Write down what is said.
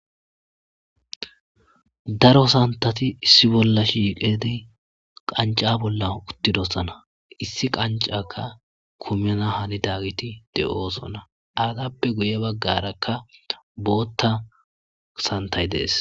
Daro santati issi bolla shiiqedi qanca bolla uttidossana issi qancaka kumana hani daggiti de'osona aratappe guye baggarakka bootta santay dees.